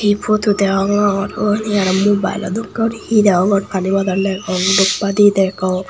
hee photo deyongor wo uni aro mobile llo dokke guri hee deyongor pani bodol degong doobbadi degong.